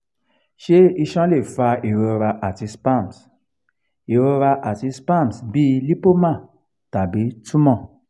se iṣan le fa irora ati spasms irora ati spasms bi lipoma tabi tumor?